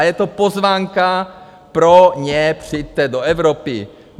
A je to pozvánka pro ně: Přijďte do Evropy.